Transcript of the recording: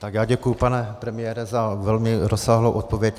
Tak já děkuji, pane premiére, za velmi rozsáhlou odpověď.